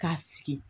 K'a sigi